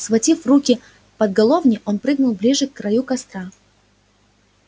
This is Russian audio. схватив в руки по головне он прыгнул ближе к краю костра